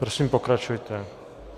Prosím, pokračujte.